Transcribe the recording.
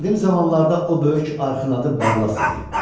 Qədim zamanlarda o böyük arxın adı Barlas idi.